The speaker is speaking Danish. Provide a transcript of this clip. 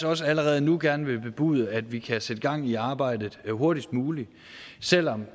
også allerede nu gerne bebude at vi kan sætte gang i arbejdet hurtigst muligt selv om